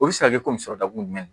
O bɛ se ka kɛ komi sɔrɔ dakun jumɛn